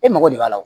E mago de b'a la